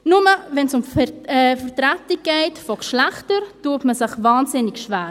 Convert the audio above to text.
Nur, wenn es um die Vertretung von Geschlechtern geht, tut man sich wahnsinnig schwer.